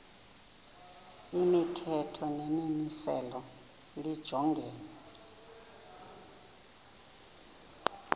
imithetho nemimiselo lijongene